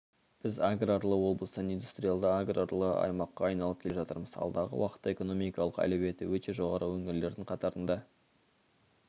біз аграрлы облыстан индустриялды-аграрлы аймаққа айналып келе жатырмыз алдағы уақытта экономикалық әлеуеті өте жоғары өңірлердің қатарында